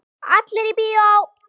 Allir í bíó!